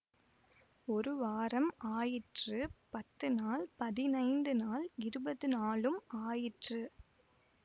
ஒரு வாரம் ஆயிற்று பத்து நாள் பதினைந்து நாள் இருபது நாளும் ஆயிற்று